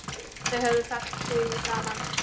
Þau höfðu fellt hugi saman.